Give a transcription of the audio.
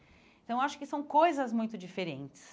Então, acho que são coisas muito diferentes.